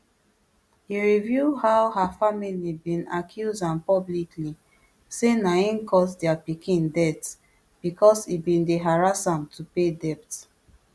e reveal how her family bin accuse am publicly say na im cause dia pikin death bicos e bin dey harass am to pay debt